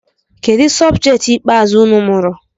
Kedụ sọbjet ikpeazụ unu mụrụ?